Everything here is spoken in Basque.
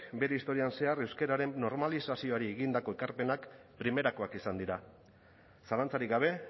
bere historian zehar euskararen normalizazioari egindako ekarpenak primerakoak izan dira zalantzarik gabe